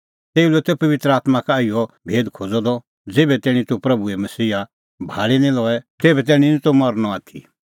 तेऊ लै त पबित्र आत्मां का इहअ भेद खोज़अ द ज़ेभै तैणीं तूह प्रभूए मसीहा भाल़ी निं लए तेभै तैणीं निं तूह मरनअ आथी